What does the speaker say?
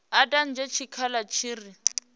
i dadze tshikhala tshi re